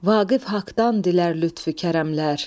Vaqif haqdan dilər lütfü kərəmlər.